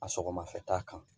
A sɔgɔmafɛta kan